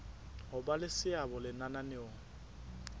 ho ba le seabo lenaneong